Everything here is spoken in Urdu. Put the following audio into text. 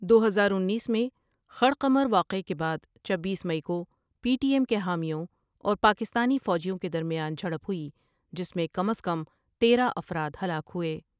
دو ہزار انیس میں خڑقمر واقعے کے بعد چبیس مئی کو پی ٹی ایم کے حامیوں اور پاکستانی فوجیوں کے درمیان جھڑپ ہوئی جس میں کم از کم تیرہ افراد ہلاک ہوئے۔